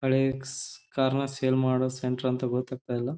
ಹಳೆ ಕಾರ್ನ್ನ ಸೇಲ್ ಮಾಡೋ ಸೆಂಟರ್ ಅಂತ ಗೊತ್ತಾಗ್ತಾ ಇಲ್ಲ.